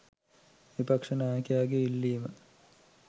විපක්ෂ නායකයාගේ ඉල්ලීම